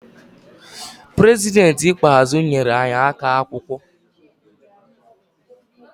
Prezidentị ikpeazụ nyere anyi akap akwụkwọ